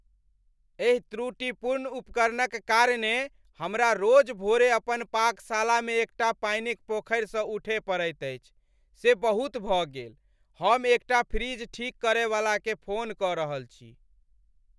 एहि त्रुटिपूर्ण उपकरणक कारणेँ हमरा रोज भोरे अपन पाकशालामे एकटा पानिक पोखरिसँ उठय पड़ैत अछि से बहुत भऽ गेल! हम एकटा फ्रिज ठीक करयवलाकेँ फोन कऽ रहल छी।